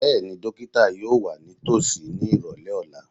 Bẹ́ẹ̀ni, dókítà yóò wà nítòsí ní ìrọ̀lẹ́ ọ̀la